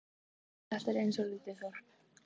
Þetta er eins og lítið þorp.